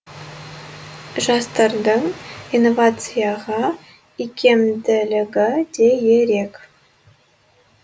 жастардың инновацияға икемділігі де ерек